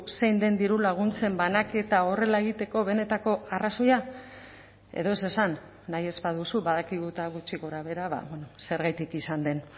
zein den dirulaguntzen banaketa horrela egiteko benetako arrazoia edo ez esan nahi ez baduzu badakigu eta gutxi gorabehera zergatik izan den